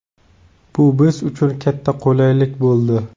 Bu biz uchun katta qulaylik bo‘ldi.